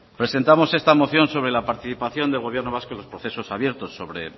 presentamos esta moción sobre la participación del gobierno vasco en los procesos abiertos sobre